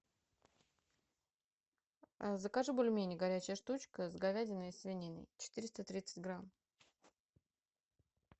закажи бульмени горячая штучка с говядиной и свининой четыреста тридцать грамм